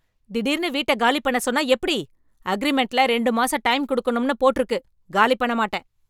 திடீர்னு வீட்டை காலி பண்ண சொன்னா எப்படி? அக்ரீமெண்ட்ல ரெண்டு மாசம் டைம் கொடுக்கணும் போட்டு இருக்கு. காலி பண்ண மாட்டேன்